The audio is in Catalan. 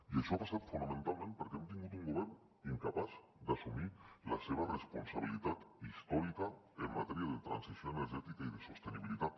i això ha passat fonamentalment perquè hem tingut un govern incapaç d’assumir la seva responsabilitat històrica en matèria de transició energètica i de sostenibilitat